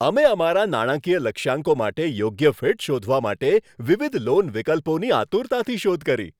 અમે અમારા નાણાકીય લક્ષ્યાંકો માટે યોગ્ય ફીટ શોધવા માટે વિવિધ લોન વિકલ્પોની આતુરતાથી શોધ કરી.